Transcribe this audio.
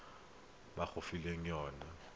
lekwalo le le nang le